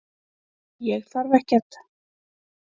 Ég þarf ekkert.